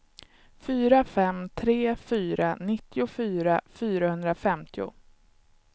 fyra fem tre fyra nittiofyra fyrahundrafemtio